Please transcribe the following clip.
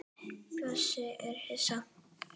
Bjössi er hissa.